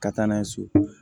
Ka taa n'a ye so